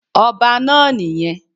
Ọba náà nì yẹn